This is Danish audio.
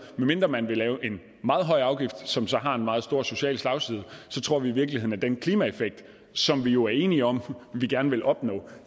med mindre man vil lave en meget høj afgift som så har en meget stor social slagside vi tror i virkeligheden at den klimaeffekt som vi jo er enige om vi gerne vil opnå